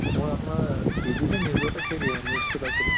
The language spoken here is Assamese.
মই আপোনাৰ TV নিজতেই সেই news টো পাইছিলো